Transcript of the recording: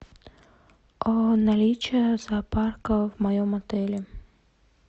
наличие зоопарка в моем отеле